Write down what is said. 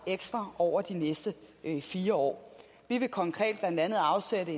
ekstra over de næste fire år vi vil konkret blandt andet afsætte